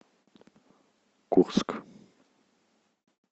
курск